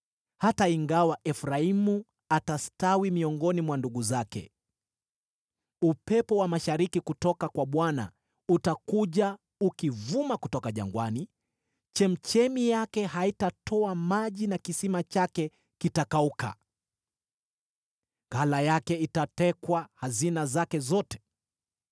hata ingawa Efraimu atastawi miongoni mwa ndugu zake. Upepo wa mashariki kutoka kwa Bwana utakuja, ukivuma kutoka jangwani, chemchemi yake haitatoa maji na kisima chake kitakauka. Ghala lake litatekwa hazina zake zote.